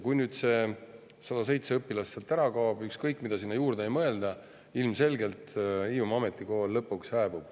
Kui nüüd need 107 õpilast sealt ära kaovad, siis ükskõik mida sinna juurde ei mõelda, ilmselgelt Hiiumaa Ametikool lõpuks hääbub.